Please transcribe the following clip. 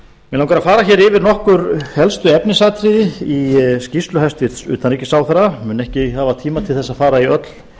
langar að fara yfir nokkur helstu efnisatriði í skýrslu hæstvirts utanríkisráðherra mun ekki hafa tíma til að fara í öll